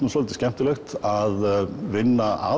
svolítið skemmtilegt að vinna